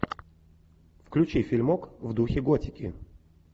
включи фильмок в духе готики